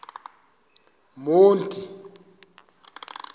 monti